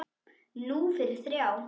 Núna fyrir þrjá.